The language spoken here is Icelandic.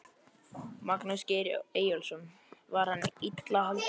Magnús Geir Eyjólfsson: Var hann illa haldinn?